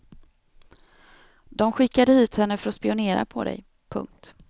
De skickade hit henne för att spionera på dig. punkt